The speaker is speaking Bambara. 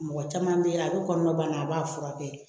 Mɔgɔ caman bɛ a bɛ kɔnɔnana a b'a furakɛ